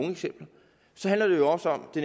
så handler det jo også om det